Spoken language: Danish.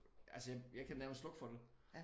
Altså jeg jeg kan nærmest slukke for det